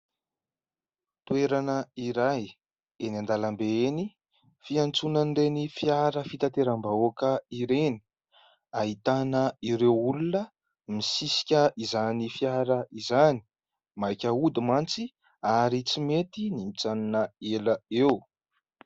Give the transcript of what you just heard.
Toerana iray eny an-dalambe eny, fiantsonan'ny fiara fitaterambahoaka ireny. Ahitana ireo olona misisika izany fiara izany ; maika hody mantsy ary tsy mety ny mijanona ela eo.